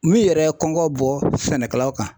Min yɛrɛ ye kɔngɔ bɔ sɛnɛkɛlaw kan.